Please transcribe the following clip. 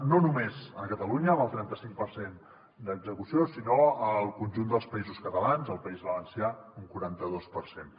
no només a catalunya amb el trenta cinc per cent d’execució sinó al conjunt dels països catalans al país valencià un quaranta dos per cent